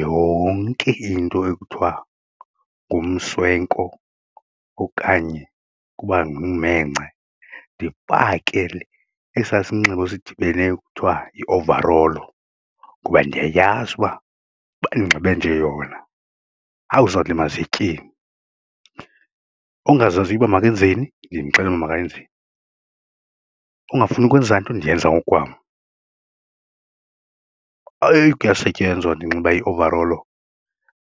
yonke into ekuthiwa ngumswenko okanye kuba ngummhengce ndipake esaa sinxibo sidibeneyo kuthiwa yi-ovarolo kuba ndiyayazi uba ba ndinxibe nje yona hawu zawulima ziye etyeni ongazaziyo uba makenzeni nindixelele uba makayenzeni, ongafuni ukwenza nto ndiyenza ngokukwam. Eyi kuyasetyenzwa ndinxiba i-ovarolo